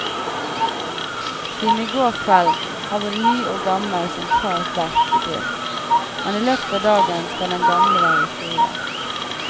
Siden i går kveld har både ny og gammel sentral vært i drift, men i løpet av dagen skal den gamle være historie.